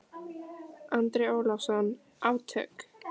Andri Ólafsson: Átök?